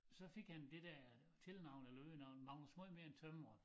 Så fik han det dér tilnavn eller øgenavn Magnus måj mere end tømrer